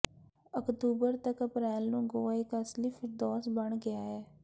October ਤੱਕ ਅਪ੍ਰੈਲ ਨੂੰ ਗੋਆ ਇੱਕ ਅਸਲੀ ਫਿਰਦੌਸ ਬਣ ਗਿਆ ਹੈ